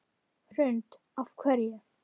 Hrund: Af hverju?